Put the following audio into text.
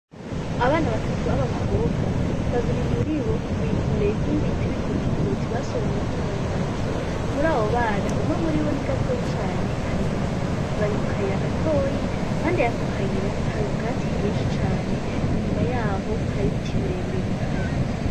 Abana batatu b'abakobwa, babiri muribo bikoreye inkwi bita ibikotikoti basoromyeko imyumbati. Muri abo bana, umwe murino ni gatoyi cane kari inyuma, bari mukayira gatoyi impande yako kayira hari ubwatsi bwinshi cane, inyuma yaho hari ibiti birebire bihari.